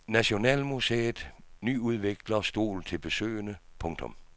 Nationalmuseet nyudvikler stol til besøgende. punktum